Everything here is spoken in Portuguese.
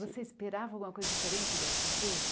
Você esperava alguma coisa diferente dessa empresa?